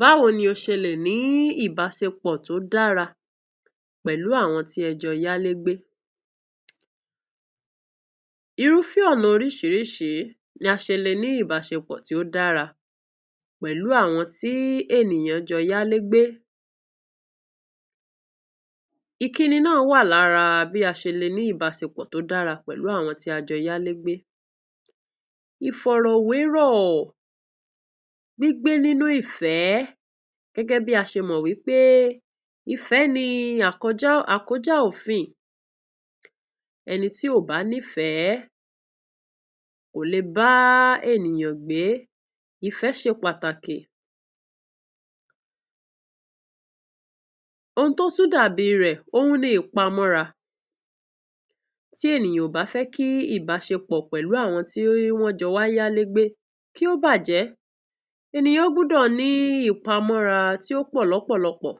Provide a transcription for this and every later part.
Báwo ló ṣe lè bẹ.̀rẹ.̀ ìbáṣepọ.̀ tó dára pẹ.̀lú àwọn tí ẹ jọ yá ilé gbé? Irúfẹ.́ ọ.̀ nà oríṣìíríṣìí la ṣe lè ní ní ìbáṣepọ.̀ tó dára pẹ.̀lú àwọn ènìyàn tí wọ́. n jọ yá ilé gbé. Ìkíni ń bẹ.̀ nínú bí a ṣe lè jẹ.́ ọrẹ ní ìbáṣepọ.̀ tó dára pẹ.̀lú àwọn tí wọ́. n jọ yá ilé gbé. Ìfọ.̀ rọ.̀ wérọ.̀, gbígbé nínú ìfẹ.́ gẹ.́gẹ.́ bí a ṣe mọ.̀ wípé "ìfẹ.́ ni a kọjá òfin." Ènìyàn tí ó bá ní ìfẹ.́, kò le bá ènìyàn gbé. Ìfẹ.́ ṣe pàtàkì. Ohun tó tún dá bí rẹ, òun ni ìpamọ.́ ra. Tí ènìyàn ò bá fẹ.́ kí ìbáṣepọ.̀ pẹ.̀lú àwọn tí wọ́. n jọ wá yá ilé gbé kó bàjẹ.́, ènìyàn gbọ.́ dọ.̀ ní ìpamọ.́ ra tó pọ.̀, lọ.́ pọ.̀ lọpọ.̀.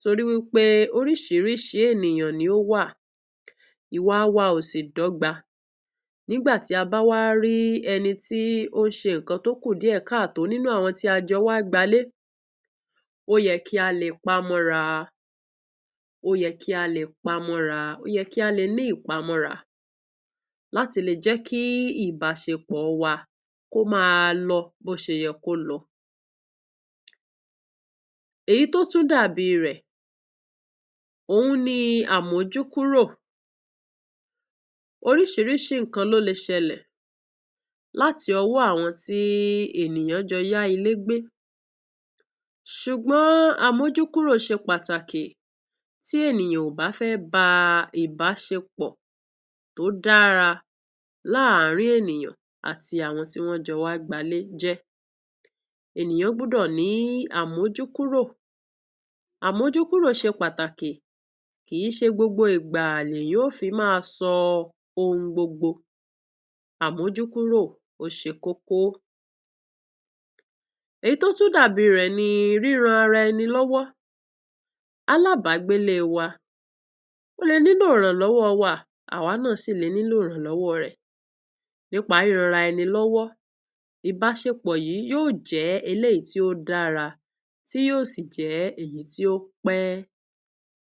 Tó ri pé oríṣìíríṣìí ènìyàn ló wà. Ìwà wa ò sí dọgba. Nígbà tí a bá wá rí ènìyàn tó ṣe òkù dírékàtọ.́ nínú àwọn tá a wá jọ gbé ilé, ó yẹ kí a lé pamọ.́ ra, ó yẹ kí a ní ìpamọ.́ ra, láti lè jẹ.́ kí ìbáṣepọ.̀ wà kọ.́ lẹ ̀, má bàjẹ.́, kó má lọ bóyá kò ṣeló. Èyí tó tún dá bí rẹ, òun ni àmójú-kúrò oríṣìíríṣìí ohun le ṣẹlẹ.̀ láti ọ.́ wọ.́ àwọn tí ènìyàn yá ilé gbé pẹ.̀lú, ṣùgbọ.́ n àmójúkúrò ṣe pàtàkì. Tí ènìyàn bá fẹ.́ ní ìbáṣepọ.̀ tó dára lárin ènìyàn àti àwọn tó jọ wá gbá ilé, ènìyàn gbọ.́ dọ.̀ ní àmójúkúrò. Àmójúkúrò ṣe pàtàkì. Kì í ṣe gbogbo ìgbà ni ènìyàn yóò fẹ.́ máa hùń gbọgbọ. Àmójúkúrò ni kókó. Èyí tó tún dá bí rẹ, ni ríràn ara ẹni lọwọ.́. Alábàgbẹ.́ wa lè nílò ìrànlọ.́ wọ.́ wa, àwa náà sì lè nílò ìrànlọ.́ wọ.́ rẹ.̀ nípa rán ara ẹni lọwọ.́. Ìbáṣepọ.̀ yìí yóò jẹ.́ ohun tí ó dára, yóò sì jẹ.́ èyí tí ó pé.